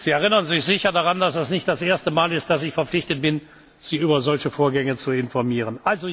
Sie erinnern sich sicher daran, dass das nicht das erste Mal ist, dass ich verpflichtet bin, Sie über solche Vorgänge zu informieren.